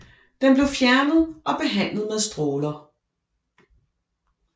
Den blev fjernet og behandlet med stråler